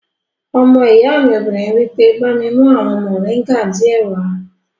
Ọmọ ìyá mi obìnrin wí pé, "bá mi mú àwọn mọ̀ríńgà díẹ̀ wá!"